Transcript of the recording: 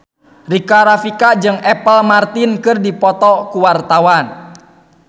Rika Rafika jeung Apple Martin keur dipoto ku wartawan